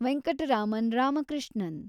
Venkataraman Ramakrishnan